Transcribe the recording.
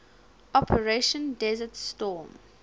operation desert storm